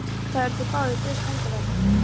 Þó eru þeir báðir guðs handaverk.